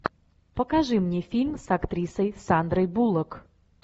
покажи мне фильм с актрисой сандрой буллок